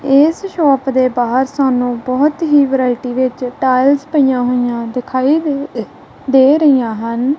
ਏਸ ਸ਼ੌਪ ਦੇ ਬਾਹਰ ਸਾਨੂੰ ਬੋਹੁਤ ਹੀ ਵੈਰਾਇਟੀ ਵਿੱਚ ਟਾਈਲਸ ਪਈਆਂ ਹੋਈਆਂ ਦਿਖਾਈ ਦੇ ਦੇ ਰਾਹੀਆਂ ਹਨ।